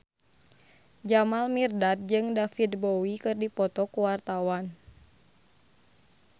Jamal Mirdad jeung David Bowie keur dipoto ku wartawan